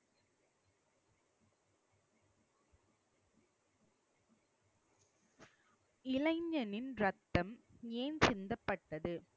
இளைஞனின் ரத்தம் ஏன் சிந்தப்பட்டது